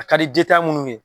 A ka di jitan minnu ye.